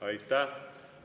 Aitäh!